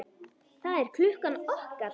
Það er klukkan okkar!